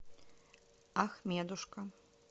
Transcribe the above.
ахмедушка